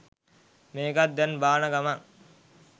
මේකත් දැන් බාන ගමන්